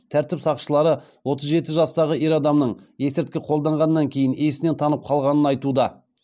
тәртіп сақшылары отыз жеті жастағы ер адамның есірткі қолданғаннан кейін есінен танып қалғанын айтуда